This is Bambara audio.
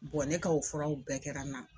ne ka o furaw bɛɛ kɛra n na.